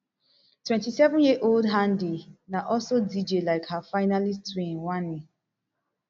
twenty-seven years old handi na also dj lik her finalist twin wanni